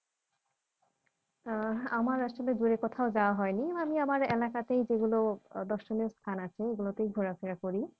আহ আমার আসলে দূরে কোথাও যাওয়া হয়নি আমি আমার এলাকাতেই যেগুলো আহ দর্শনীয় স্থান আছে ওগুলোতেই ঘোরাফেরা করি